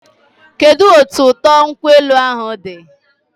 Kedụ otu ụtọ nkwụ elu ahụ dị?